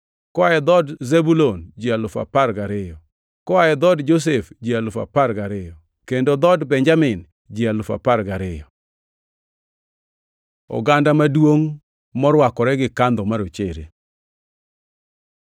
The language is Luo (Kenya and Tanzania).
Koa dhood Zebulun ji alufu apar gariyo (12,000), Koa dhood Josef ji alufu apar gariyo (12,000), kendo dhood Benjamin ji alufu apar gariyo (12,000). Oganda maduongʼ morwakore gi kandho marochere